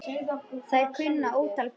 Þær kunna ótal brögð.